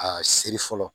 A seri fɔlɔ